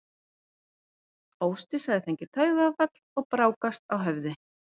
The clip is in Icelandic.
Ásdís hafði fengið taugaáfall og brákast á höfði.